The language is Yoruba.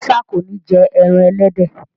Musa kọ ní jé èràn elédè.